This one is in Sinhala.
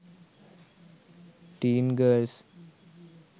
teen girls